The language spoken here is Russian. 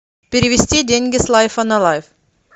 перевести деньги с лайфа на лайф